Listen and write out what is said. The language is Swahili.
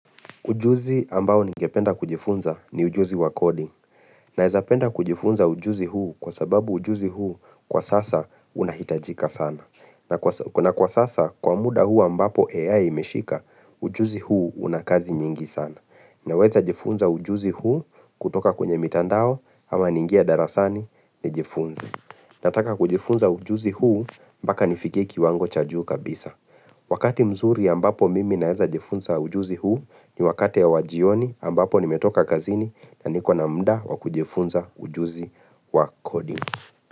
Ujuzi ambao ningependa kujifunza ni ujuzi wa coding. Naweza penda kujifunza ujuzi huu kwa sababu ujuzi huu kwa sasa unahitajika sana. Na kwa sasa kwa muda huu ambapo AI imeshika ujuzi huu unakazi nyingi sana. Naweza jifunza ujuzi huu kutoka kwenye mitandao ama ningie darasani ni jifunze. Nataka kujifunza ujuzi huu mpaka nifikie kiwango cha juu kabisa. Wakati mzuri ambapo mimi naeza jifunza ujuzi huu ni wakati ya wajioni ambapo nimetoka kazini na nikona muda wakujifunza ujuzi wa coding.